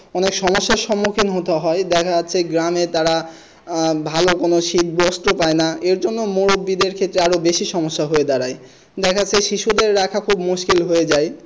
অনেক সমস্যার সম্মুখীন হতে হয় দেখা যাচ্ছে গ্রামে তারা আহ ভালো কোনো শীত বস্ত্র পায়না এর জন্য মুরব্বি দের ক্ষেত্রে আরো বেশি সমস্যা হয়ে দাঁড়ায় দেখাচ্ছে শিশুদের রাখার খুব মুশকিল হয়ে যায়।